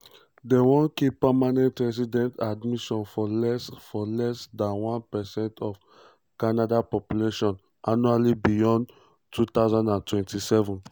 dem wan keep permanent resident admission for less for less dan 1 percent of canada population annually beyond 2027.